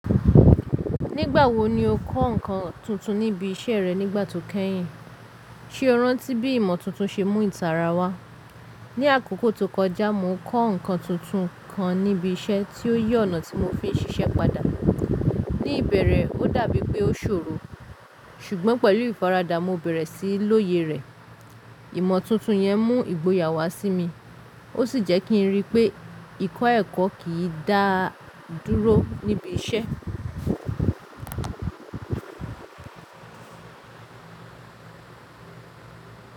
Nígbà wo ni o kọ́ nǹkan tuntun níbi iṣẹ́ rẹ nígbà tó kẹ́yìn? Ṣé o rántí bí ìmọ̀ tuntun ṣe mú ìtara wá? Ní àkókò tó kọjá, mo kọ́ nǹkan tuntun kan níbi iṣẹ́ tí ó yé ọ̀nà tí mo fi ń ṣiṣẹ́ padà. Ní ìbẹ̀rẹ̀, ó dà bíi pé ó ṣòro, ṣùgbọ́n pẹ̀lú ìfaradà, mo bẹ̀rẹ̀ sí i lóye rẹ̀. Ìmọ̀ tuntun yẹn mú ìgboyà wá sí mi, ó sì jẹ́ kí n ríi pé ìkọ́ ẹ̀kọ́ kì í dá dúró níbi iṣẹ́.